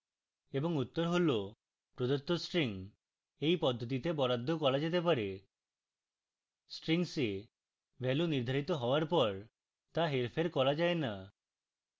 এবং উত্তর হল প্রদত্ত স্ট্রিং এই পদ্ধতিতে বরাদ্দ করা যেতে পারে